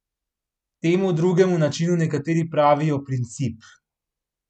Temu drugemu načinu nekateri pravijo princip.